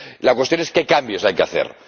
La cuestión es qué cambios hay que